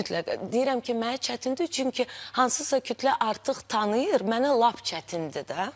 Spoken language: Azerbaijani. Deyirəm ki, mənə çətindir, çünki hansısa kütlə artıq tanıyır, mənə lap çətindir də.